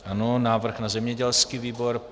Ano, návrh na zemědělský výbor.